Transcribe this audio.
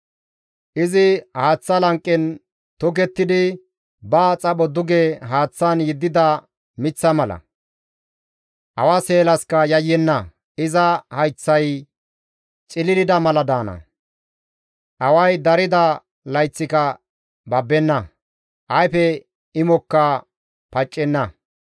Izi haaththa lanqen tokettidi, ba xapho duge haaththan yeddida miththa mala. Awa seelaskka yayyenna; iza hayththay cililida mala daana; away darida layththika babbenna; ayfe imoppeka paccenna.